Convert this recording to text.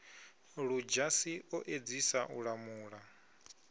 ludzhasi o edzisa u lamula